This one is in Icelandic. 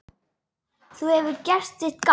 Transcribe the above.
Þú hefur gert þitt gagn.